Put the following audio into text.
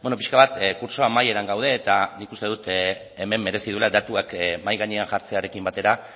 pixka bat kurtso amaieran gaude eta nik uste dut hemen merezi duela datuak mahai gainean jartzearekin batera